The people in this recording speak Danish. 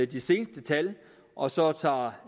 de seneste tal med og så tager